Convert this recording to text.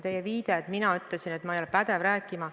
Te viitasite, et ma ütlesin, et ma ei ole pädev rääkima.